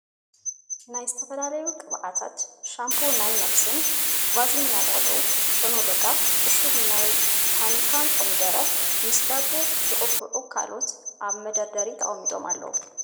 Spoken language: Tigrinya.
ናይ ዝተፈላለዩ ቅብኣታት፣ ሻምፖናይ ነብስን፣ ቫዝሊን ናይ ቆልዑ፣ ሾኖለጋ፣ ዕሹግ ናይ ታኒካ ኮሚደረን፣ ምስ ዳቦ ዝቅብኡን ካልኦትን ኣብ መደርደሪ ተቀሚጦም ኣለዉ ።